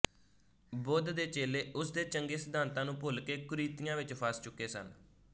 ਬੁੱਧ ਦੇ ਚੇਲੇ ਉਸ ਦੇ ਚੰਗੇ ਸਿਧਾਂਤਾਂ ਨੂੰ ਭੁੱਲਕੇ ਕੁਰੀਤੀਆਂ ਵਿੱਚ ਫਸ ਚੁੱਕੇ ਸਨ